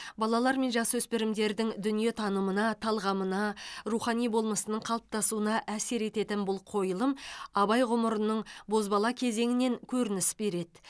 балалар мен жасөспірімдердің дүниетанымына талғамына рухани болмысының қалыптасуына әсер ететін бұл қойылым абай ғұмырының бозбала кезеңінен көрініс береді